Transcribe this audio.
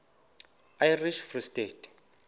irish free state